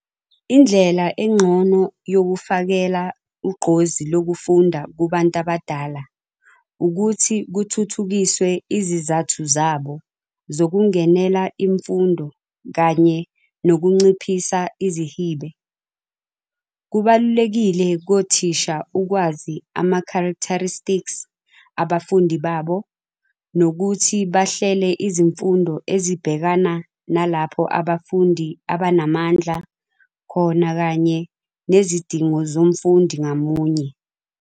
Indlela engcono yokufakela ugqozi lokufunda kubantu abadala ukuthi kuthuthukiswe izizathu zabo zokungenela imfundo kanye nokunciphisa izihibe. Kubalulekile kothisha ukwazi ama-characteristics abafundi babo nokuthi bahlele izifundo ezibhekana nalapho abafundi abanamandla khona kanye nezidingo zomfundi ngamunye.